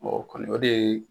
o kɔni o de ye